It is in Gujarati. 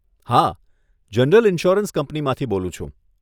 હા, જનરલ ઈન્સ્યોરન્સ કંપનીમાંથી બોલું છું.